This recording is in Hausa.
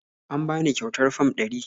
Am bani ƙyautar Fam ɗari